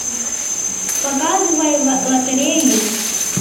показывай лотерею